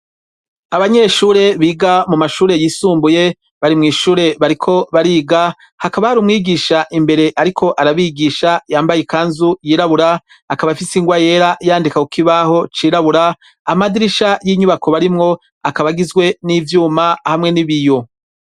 Abanyeshure biga mu mashure yisumbuye bari mw'ishure bariko bariga hakaba hari umwigisha imbere ariko arabigisha yambaye ikanzu yirabura, akaba afise ingwa yera yandika ku kibaho cirabura, amadirisha y'inyubako barimwo akaba agizwe n'ivyuma hamwe n'ibiyo.